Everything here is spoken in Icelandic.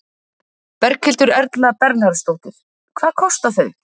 Berghildur Erla Bernharðsdóttir: Hvað kosta þau?